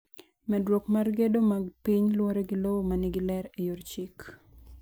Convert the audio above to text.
Mendruok mar gedo mag piny luwore gi lowo ma nigi ler e yor chik.